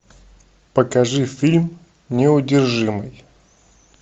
покажи фильм неудержимый